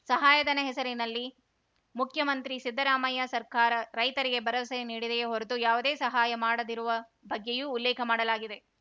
ಸಹಾಯಧನ ಹೆಸರಲ್ಲಿ ಮುಖ್ಯಮಂತ್ರಿ ಸಿದ್ದರಾಮಯ್ಯ ಸರ್ಕಾರ ರೈತರಿಗೆ ಭರವಸೆ ನೀಡಿದೆಯೇ ಹೊರತು ಯಾವುದೇ ಸಹಾಯ ಮಾಡದಿರುವ ಬಗ್ಗೆಯೂ ಉಲ್ಲೇಖ ಮಾಡಲಾಗಿದೆ